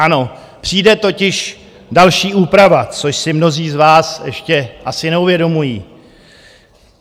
Ano, přijde totiž další úprava, což si mnozí z vás ještě asi neuvědomují.